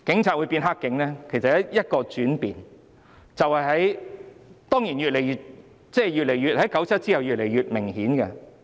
就是因為一個轉變，當然 ，1997 年之後是越來越明顯的。